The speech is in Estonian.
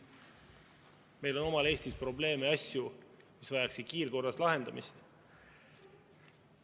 Meil on omal Eestis probleeme ja asju, mis vajaksid kiirkorras lahendamist.